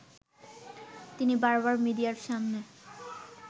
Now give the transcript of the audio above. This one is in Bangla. তিনি বারবার মিডিয়ার সামনে